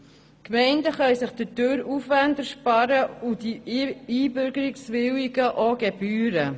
Die Gemeinden können sich dadurch Aufwände ersparen und die Einbürgerungswilligen Gebühren.